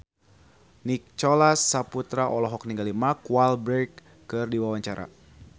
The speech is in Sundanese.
Nicholas Saputra olohok ningali Mark Walberg keur diwawancara